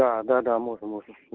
да да да можно можно